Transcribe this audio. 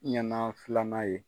Ɲɛnan filanan ye.